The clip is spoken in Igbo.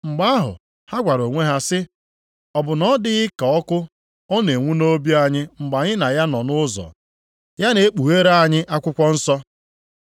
Mgbe ahụ, ha gwara onwe ha sị, “Ọ bụ na ọ dịghị ka ọkụ ọ na-enwu nʼobi anyị mgbe anyị na ya nọ nʼụzọ, ya na-ekpughere anyị akwụkwọ nsọ?”